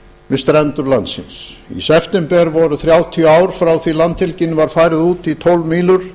við strendur landsins í september voru fimmtíu ár frá því landhelgin var færð út í tólf mílur